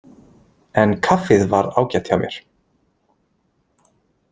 En kaffið var ágætt hjá mér.